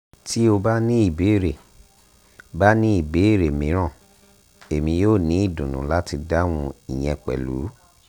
ti o ba ni ibeere ba ni ibeere miiran emi yoo ni idunnu lati dahun iyẹn pẹlu